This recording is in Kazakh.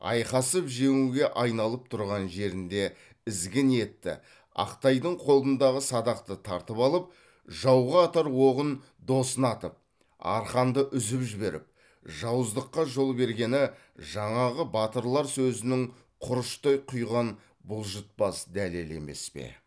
айқасып жеңуге айналып тұрған жерінде ізгі ниетті ақтайдың қолындағы садақты тартып алып жауға атар оғын досына атып арқанды үзіп жіберіп жауыздыққа жол бергені жаңағы батырлар сөзінің құрыштай құйған бұлжытпас дәлелі емес пе